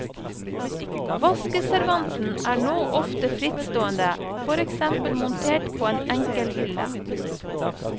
Vaskeservanten er nå ofte frittstående, for eksempel montert på en enkel hylle.